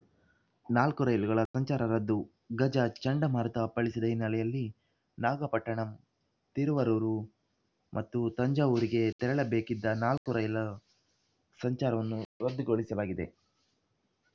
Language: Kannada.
ನಾಲ್ಕು ರೈಲುಗಳ ಸಂಚಾರ ರದ್ದು ಗಜ ಚಂಡಮಾರುತ ಅಪ್ಪಳಿಸಿದ ಹಿನ್ನೆಲೆಯಲ್ಲಿ ನಾಗಪಟ್ಟಣಂ ತಿರುವರೂರ್‌ ಮತ್ತು ತಂಜಾವೂರಿಗೆ ತೆರಳಬೇಕಿದ್ದ ನಾಲ್ಕು ರೈಲು ಸಂಚಾರವನ್ನು ರದ್ದುಗೊಳಿಸಲಾಗಿದೆ